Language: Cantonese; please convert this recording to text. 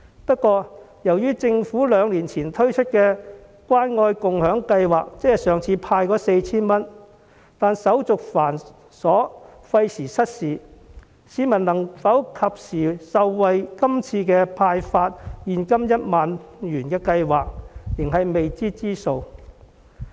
不過，由於政府兩年前透過關愛共享計劃派發 4,000 元時手續繁瑣，廢時失事，市民能否及時受惠於今次派發現金 10,000 元的計劃，仍是未知之數。